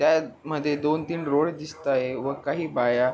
त्या मध्ये दोन तीन रोड दिसताए व काही बाया--